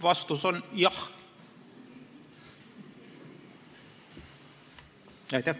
Vastus on jah.